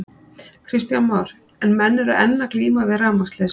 Kristján Már: En menn eru enn að glíma við rafmagnsleysi?